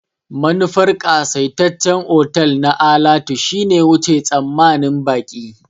Manufar ƙasaitaccen otal na alatu shine wuce tsammanin baƙi.